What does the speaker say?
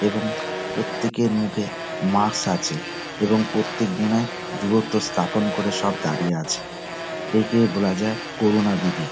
এবং প্রত্যেকের মুখে মাস্ক আছে এবং প্রত্যেক জনে দূরত্ব স্থাপন করে সব দাঁড়িয়ে আছে। একেই বলা যায় করোনা বিধি।